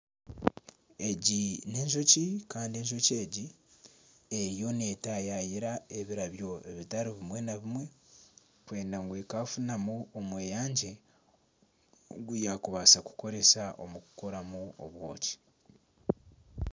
Egi n'enjoki kandi enjoki egi eriyo netayaayira ebirabyo bitari bimwe na bimwe kwenda ngu ekafunamu omweyangye ogu yaakubaasa kukoramu obwoki.